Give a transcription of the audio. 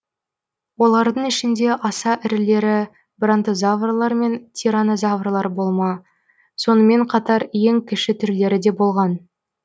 олардың ішінде аса ірілері брантозаврлар мен тиранозаврлар болма сонымен қатар ең кіші түрлері де болған